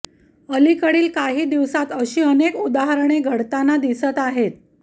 अलीकडील काही दिवसांत अशी अनेक उदाहरणे घडताना दिसत आहेत